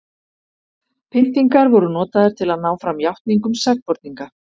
pyntingar voru notaðar til að ná fram játningum sakborninga